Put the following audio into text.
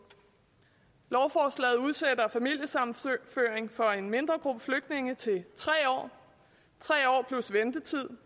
lovforslaget udsætter familiesammenføringen for en mindre gruppe flygtninge til tre år tre år plus ventetid